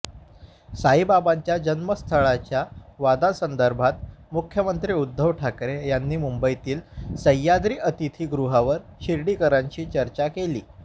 साईबाबांच्या जन्मस्थळाच्या वादासंदर्भात मुख्यमंत्री उद्धव ठाकरे यांनी मुंबईतील सह्याद्री अतिथी गृहावर शिर्डीकरांशी चर्चा केली